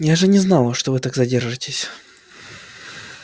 я же не знала что вы так задержитесь